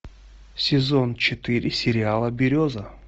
сезон четыре сериала береза